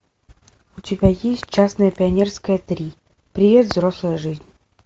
у тебя есть честное пионерское три привет взрослая жизнь